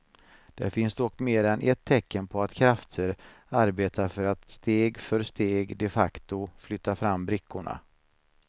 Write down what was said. Det finns dock mer än ett tecken på att krafter arbetar för att steg för steg de facto flytta fram brickorna.